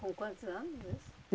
Com quantos anos isso?